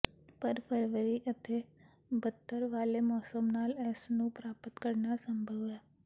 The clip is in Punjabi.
ਪਰ ਫਰਵਰੀ ਅਤੇ ਬੱਦਤਰ ਵਾਲੇ ਮੌਸਮ ਨਾਲ ਇਸ ਨੂੰ ਪ੍ਰਾਪਤ ਕਰਨਾ ਅਸੰਭਵ ਹੈ